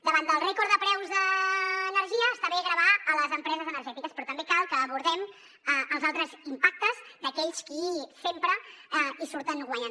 davant del rècord de preus de l’energia està bé gravar a les empreses energètiques però també cal que abordem els altres impactes d’aquells qui sempre hi surten guanyant